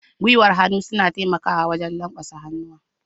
Gwiwan hannu suna taimakawa wajen lanƙwasa hannuwa.